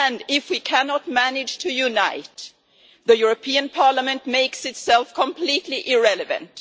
If we cannot manage to unite, the European Parliament makes itself completely irrelevant.